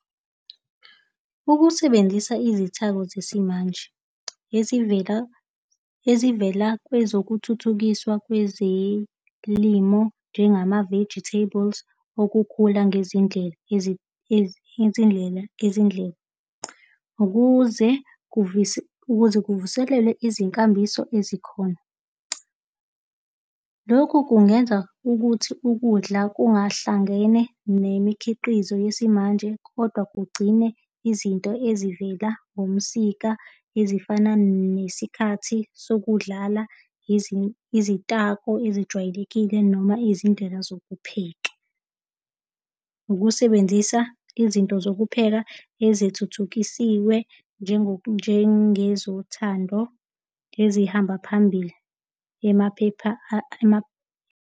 Ukusebenzisa izithako zesimanje ezivela, ezivela kwezokuthuthukiswa kwezelimo njengama-vegetables okukhula ngezindlela izindlela, izindlela ukuze ukuze kuvuselwe izinkambiso ezikhona. Lokhu kungenza ukuthi ukudla kungahlangene nemikhiqizo yesimanje, kodwa kugcine izinto ezivela ngomsika ezifana nesikhathi sokudlala izitako ezijwayelekile noma izindlela zokupheka. Ukusebenzisa izinto zokupheka ezithuthukisiwe. njengezothando ezihamba phambili emaphepha .